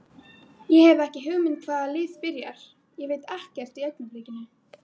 Ég hef ekki hugmynd hvaða lið byrjar, ég veit ekkert í augnablikinu.